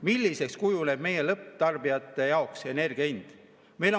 Milliseks kujuneb lõpptarbijate jaoks energia hind?